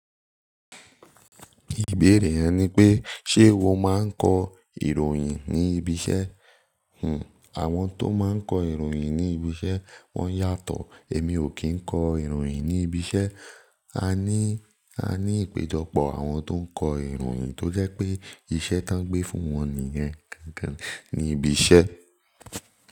Ìbéèrè rẹ ni pé ṣe wo máa ń kọ ìròyìn ní ibi iṣẹ́? Àwọn tó máa ń kọ ìròyìn ní ibi iṣẹ́ wọ́n yàtọ̀. Emi o ki n kọ ìròyìn ni ibi iṣẹ. A ní ipéjọpọ̀ àwọn tó ń kọ ìròyìn tó jẹ́ pé iṣẹ́ tí wọ́n gbé fún wọn nìyẹn gangan ní ibi iṣẹ́.